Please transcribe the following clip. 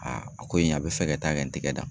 a ko in a bɛ fɛ ka taa kɛ n tɛgɛ dan.